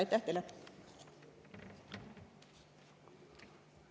Aitäh teile!